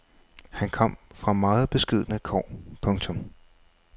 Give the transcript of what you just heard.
Han kom fra meget beskedne kår. punktum